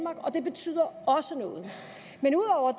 og det betyder også noget men ud over